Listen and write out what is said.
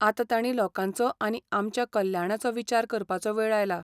आतां ताणीं लोकांचो आनी आमच्या कल्याणाचो विचार करपाचो वेळ आयला.